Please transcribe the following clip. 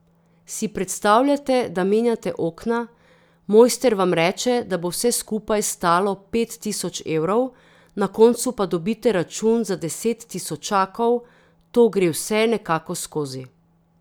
Si predstavljate, da menjate okna, mojster vam reče, da bo vse skupaj stalo pet tisoč evrov, na koncu pa dobite račun za deset tisočakov, to gre vse nekako skozi.